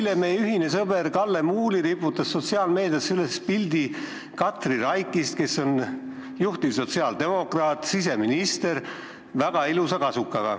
Eile riputas meie ühine sõber Kalle Muuli sotsiaalmeediasse üles pildi Katri Raigist, kes on juhtiv sotsiaaldemokraat ja siseminister, väga ilusas kasukas.